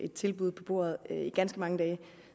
et tilbud på bordet i ganske mange dage